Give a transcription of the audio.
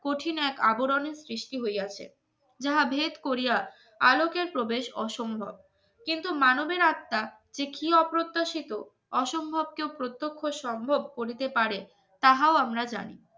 কঠিন এক আবরণের সৃষ্টি হইয়াছে যাহা ভেদ করিয়া আলোকের প্রবেশ অসম্ভব কিন্তু মানবের আত্মা যে কি অপ্রত্যাশিত অসম্ভব কেউ প্রত্যক্ষ সম্ভব করিতে পারে তাহাও